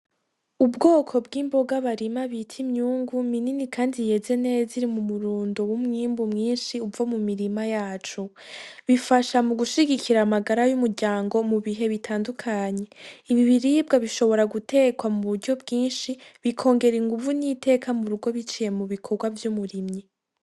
Ubwoko bw'imboga barima bita imyungu minini kandi yeze neza, iri mu murundo w'umwimbu mwinshi uva mu mirima yaco, bifasha mu gushigikira amagara y'umuryango mu bihe bitandukanye, ibi biribwa bishobora gutekwa mu buryo bwinshi bikongera inguvu n'iteka mu rugo biciye mu bikorwa vy'umurimyi.